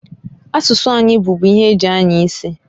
Asụsụ anyị bubu ihe eji anya isi.